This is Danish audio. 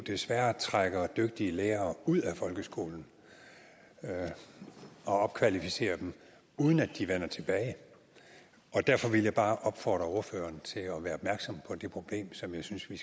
desværre trækker dygtige lærere ud af folkeskolen og opkvalificerer dem uden at de vender tilbage derfor ville jeg bare opfordre ordføreren til at være opmærksom på det problem som jeg synes at vi